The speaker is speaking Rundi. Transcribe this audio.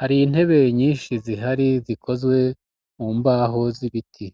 hari intebe nyinshi zihari zikozwe mu mbaho z'ibiti.